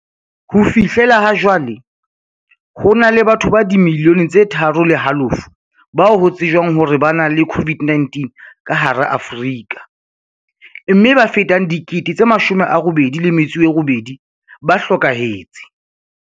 Ho fihlela hajwale, ho na le batho ba dimiliyone tse tharo le halofo ba ho tsejwang hore ba na le COVID-19 ka hara Afrika, mme ba fetang 88 000 ba hlokahetse.